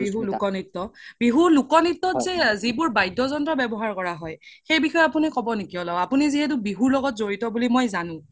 লোক নিত্য বিহুৰ লোক নিত্য যে যি বোৰ বাদ্য জন্ত ৱাবহাৰ কৰা হয় সেই বিষসয়ে আপোনি ক্'ব নেকি অলপ আপোনি যিহেতু বিহুৰ লগত যৰিত বুলি মই জানো